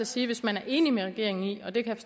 sige at hvis man er enig med regeringen i og det kan